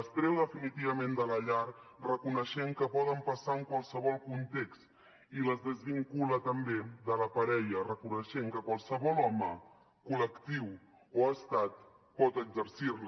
les treu definitivament de la llar reconeixent que poden passar en qualsevol context i les desvincula també de la parella reconeixent que qualsevol home col·lectiu o estat pot exercir les